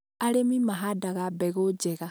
arĩmi mahandaga mbegũ njega.